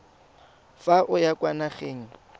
fa o ya kwa nageng